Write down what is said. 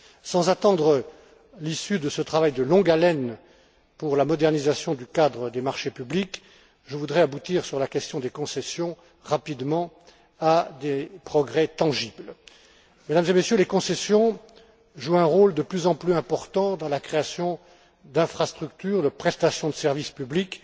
Sans attendre l'issue de ce travail de longue haleine pour la modernisation du cadre du marché public, je voudrais rapidement aboutir, sur la question des concessions, à des progrès tangibles. Mesdames et Messieurs, les concessions jouent un rôle de plus en plus important dans la création d'infrastructures de prestations de services publics.